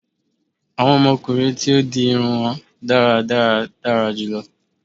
Awọn ọmọkunrin tí ó di irun won dáradára dara julọ dara julọ